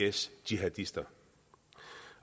is jihadister